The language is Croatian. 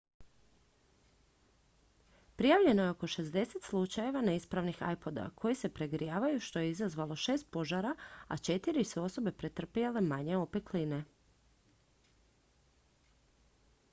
prijavljeno je oko 60 slučajeva neispravnih ipoda koji se pregrijavaju što je izazvalo šest požara a četiri su osobe pretrpjele manje opekline